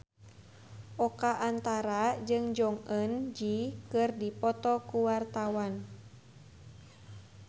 Oka Antara jeung Jong Eun Ji keur dipoto ku wartawan